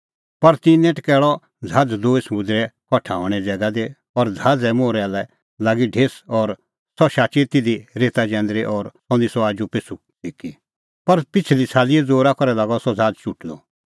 पर तिन्नैं टकैल़अ ज़हाज़ दूई समुंदरे कठा हणें ज़ैगा दी और ज़हाज़े मोहरै लै लागी ढेस और सह शाची तिधी रेता जैंदरी और सह निस्सअ आजूपिछ़ू सिक्की पर पिछ़ली छ़ालीए ज़ोरा करै लागअ ज़हाज़ चुटदअ